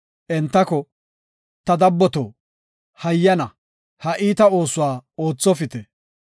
entako, “Ta dabboto, hayyana ha iita oosuwa oothopite.